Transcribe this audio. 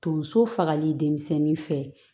Donso fagali denmisɛnnin fɛ